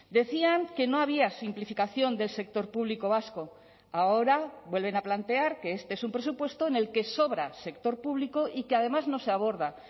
decían que no había simplificación del sector público vasco ahora vuelven a plantear que este es un presupuesto en el que sobra sector público y que además no se aborda